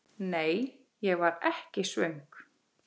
Nei, ég var ekki svöng.